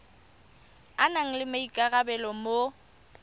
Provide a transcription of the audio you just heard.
a nang le maikarabelo mo